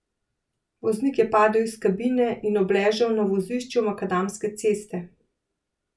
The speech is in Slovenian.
Voznik je padel iz kabine in obležal na vozišču makadamske ceste.